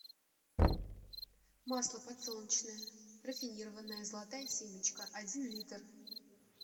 масло подсолнечное рафинированное золотая семечка один литр